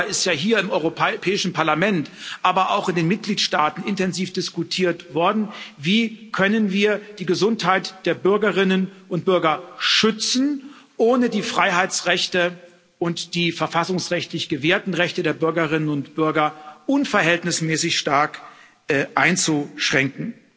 Auch darüber ist ja hier im Europäischen Parlament, aber auch in den Mitgliedstaaten intensiv diskutiert worden Wie können wir die Gesundheit der Bürgerinnen und Bürger schützen, ohne die Freiheitsrechte und die verfassungsrechtlich gewährten Rechte der Bürgerinnen und Bürger unverhältnismäßig stark einzuschränken?